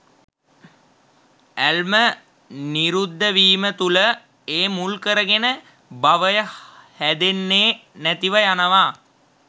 ඇල්ම නිරුද්ධ වීම තුළ ඒ මුල්කරගෙන භවය හැදෙන්නෙ නැතිව යනවා